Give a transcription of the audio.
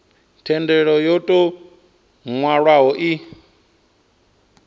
thendelo yo tou nwalwaho i